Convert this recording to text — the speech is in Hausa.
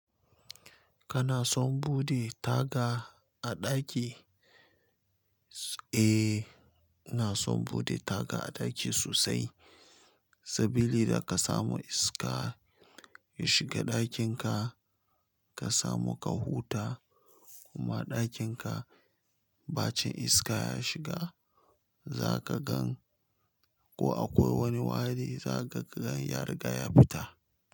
Kana son bude taga a daki? Eh, ina son bude taga a daki sosai. Sabili da ka samu iska ya shiga dakinka ka samu ka huta kuma dakinka bacin iska ya shiga, zaka gan ko akwai wani wari zaka gan ya riga ya fita.